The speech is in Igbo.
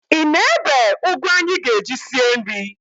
Ị na-ebe ụgụ anyị ga-eji sie nri?